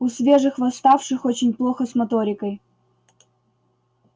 у свежих восставших очень плохо с моторикой